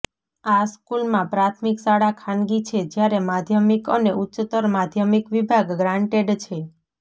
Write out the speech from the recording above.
આ સ્કૂલમાં પ્રાથમિક શાળા ખાનગી છે જ્યારે માધ્યમિક અને ઉચ્ચત્તર માધ્યમિક વિભાગ ગ્રાન્ટેડ છે